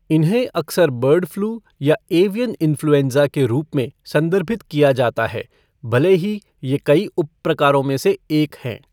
इन्हें अक्सर bird flu या एवियन इन्फ्लूएँज़ा के रूप में संदर्भित किया जाता है, भले ही ये कई उपप्रकारों में से एक है।